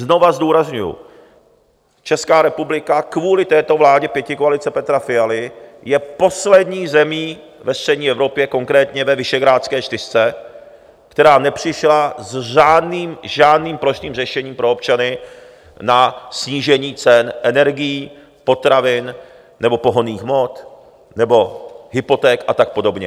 Znova zdůrazňuji, Česká republika kvůli této vládě pětikoalice Petra Fialy je poslední zemí ve střední Evropě, konkrétně ve Visegrádské čtyřce, která nepřišla s žádným plošným řešením pro občany na snížení cen energií, potravin nebo pohonných hmot nebo hypoték a tak podobně.